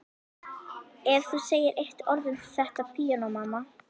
Ef þú segir eitt orð um þetta píanó, mamma.